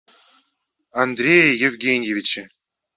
андрее евгеньевиче